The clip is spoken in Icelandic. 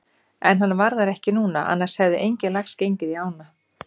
En hann var þar ekki núna annars hefði enginn lax gengið í ána.